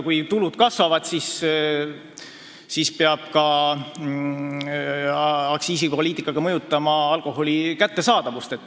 Kui tulud kasvavad, siis peab muidugi aktsiisipoliitikaga mõjutama ka alkoholi kättesaadavust.